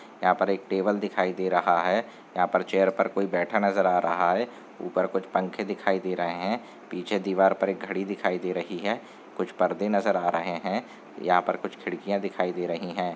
यहाँ पर एक टेबल दिखाई दे रहा है यहाँ पर चेयर पर कोई बैठा नज़र आ रहा है ऊपर कुछ पंखे दिखाई दे रहे है पीछे दीवार पर एक घड़ी दिखाई दे रही है कुछ पर्दे नज़र आ रहे है यहाँ पर कुछ खिड़कियाँ दिखाई दे रही हैं।